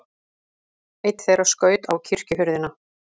Einn þeirra skaut á kirkjuhurðina.